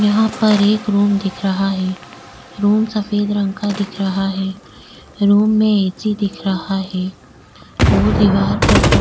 यहा पर एक रूम दिख रहा है रूम सफेद रंग का दिख रहा है रूम में ए.सी. दिख रहा है और दीवार पर फो --